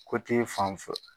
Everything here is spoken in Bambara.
fan fil